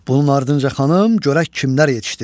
Bunun ardınca xanım, görək kimlər yetişdi.